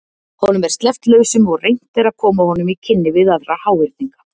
Honum er sleppt lausum og reynt er að koma honum í kynni við aðra háhyrninga.